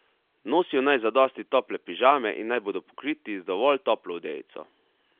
Nosijo naj zadosti tople pižame in naj bodo pokriti z dovolj toplo odejico.